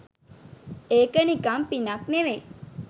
ඒක නිකම් පිනක් නෙවෙයි